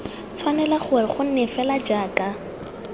tshwanela gore gonne fela jaaka